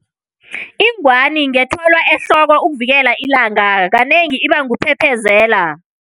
Ingwani ngethwalwa ehloko ukuvikela ilanga, kanengi iba nguphephezela.